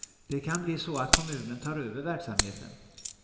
Det kan bli så att kommunen tar över verksamheten.